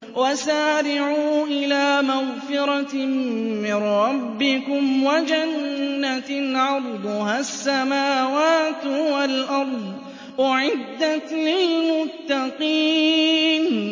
۞ وَسَارِعُوا إِلَىٰ مَغْفِرَةٍ مِّن رَّبِّكُمْ وَجَنَّةٍ عَرْضُهَا السَّمَاوَاتُ وَالْأَرْضُ أُعِدَّتْ لِلْمُتَّقِينَ